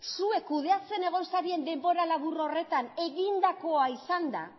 zuek kudeatzen egon zarien denbora labur horretan egindakoa izanda